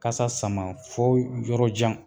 Kasa sama fɔ yɔrɔ jan